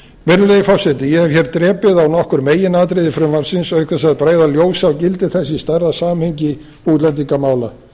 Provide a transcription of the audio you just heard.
virðulegi forseti ég hef hér drepið á nokkur meginatriði frumvarpsins auk þess að bregða ljósi á gildi þess í stærra samhengi útlendingamála